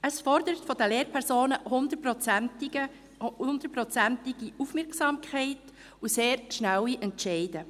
Es fordert von Lehrpersonen hundertprozentige Aufmerksamkeit und sehr schnelle Entscheide.